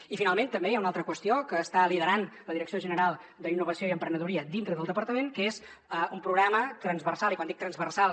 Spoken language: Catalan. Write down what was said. i finalment també hi ha una altra qüestió que està liderant la direcció general d’innovació i emprenedoria dintre del departament que és un programa transversal i quan dic transversal